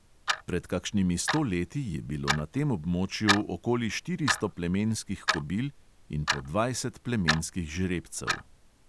Pred kakšnimi sto leti je bilo na tem območju okoli štiristo plemenskih kobil in po dvajset plemenskih žrebcev.